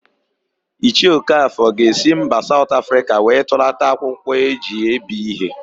Ichie Okafọ ga-esi mba Saụt Afrịka wee tụlata akwụkwọ e ji ebi íhé.